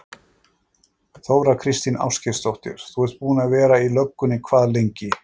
Þóra Kristín Ásgeirsdóttir: Þú ert búinn að vera í löggunni hvað lengi?